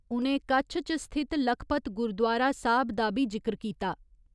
उ'नें कच्छ च स्थित लखपत गुरुद्वारा साहिब दा बी जिक्र कीता।